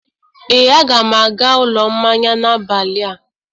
ee, a ga m aga ụlọ mmanya n'abalị a.